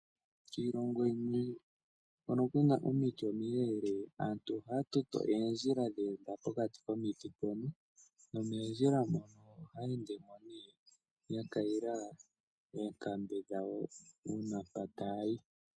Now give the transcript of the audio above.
Kiilongo hoka kuna omiti omileeleka aantu ohaatoto oondjila ndhoka dheenda pokati komiti. Nomoondjila ndhika aantu ohayeendemo yakayila oonkambe dhawo una ngele yena mpoka taayi.